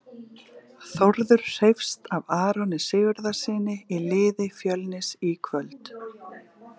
Þórður hreifst af Aroni Sigurðarsyni í liði Fjölnis í kvöld.